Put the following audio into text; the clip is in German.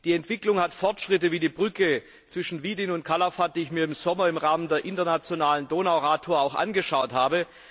Die Entwicklung verzeichnet Fortschritte, wie die Brücke zwischen Widin und Calafat, die ich mir im Sommer im Rahmen der internationalen Donau Radtour angeschaut habe.